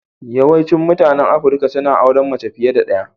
Yawaicin mutanen Afirka suna auren mace fiye da ɗaya.